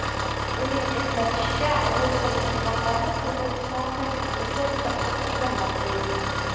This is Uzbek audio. Uning eslatishicha, rus tilining maqomi Qirg‘iziston konstitutsiyasida mustahkamlab qo‘yilgan.